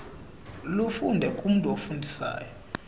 lufunde kumntu ofundisa